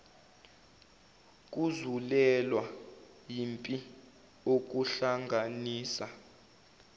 kuzulelwa yimpi okuhlanganisa